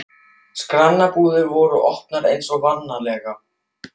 Skranbúðirnar voru opnar eins og vanalega.